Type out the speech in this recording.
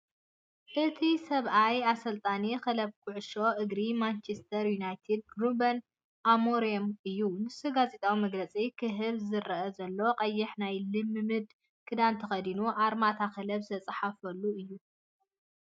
እቲ ሰብኣይ ኣሰልጣኒ ክለብ ኩዕሶ እግሪ ማንቸስተር ዩናይትድ ሩበን ኣሞሪም ኢዩ። ንሱ ጋዜጣዊ መግለጺ ክህብ ዝረአ ዘሎ ቀይሕ ናይ ልምምድ ክዳን ተኸዲኑ ኣርማ እታ ክለብ ዝተጻሕፈሉ እዩ።